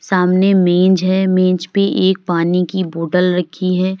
सामने मेज है मेज पे एक पानी की बॉटल रखी है।